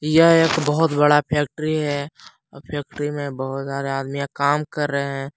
यह एक बहुत बड़ा फैक्ट्री है फैक्ट्री में बहुत सारे आदमियां काम कर रहे हैं।